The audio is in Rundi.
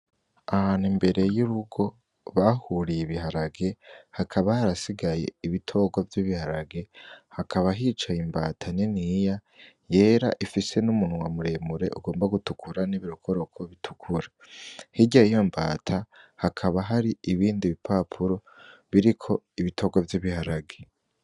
Ahantu imbere y'urugo bahuriye ibiharage hakaba harasigaye ibitogwa vy'ibiharage hakaba hicaye imbata niniya yera ifise n'umunwa muremure ugomba gutukura n'ibirokoroko bitukura, hirya yiyombata hakaba hari ibindi bipapuro biriko ibotogwa vy'ibiharage.